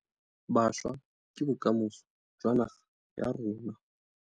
Bašwa ke bokamoso jwa naga ya rona.